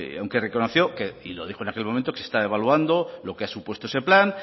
aunque reconoció que y lo dijo en aquel momento que se está devaluando lo que ha supuesto ese plan